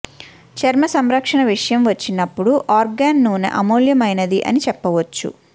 చర్మ సంరక్షణ విషయం వచ్చినప్పుడు ఆర్గాన్ నూనె అమూల్యమైనది అని చెప్పవచ్చు